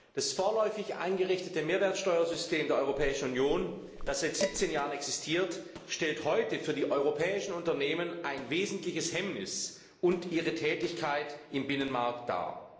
Das vorläufig eingerichtete Mehrwertsteuersystem der Europäischen Union, das seit 17 Jahren existiert, stellt heute für die europäischen Unternehmen ein wesentliches Hemmnis für ihre Tätigkeit im Binnenmarkt dar.